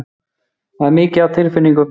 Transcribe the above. Það er mikið af tilfinningum.